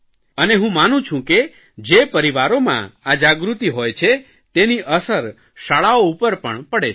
અને હું માનું છું કે જે પરિવારોમાં આ જાગૃતિ હોય છે તેની અસર શાળાઓ ઉપર પણ પડે છે